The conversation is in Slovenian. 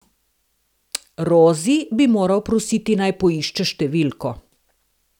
Rozi bi moral prositi, naj poišče številko.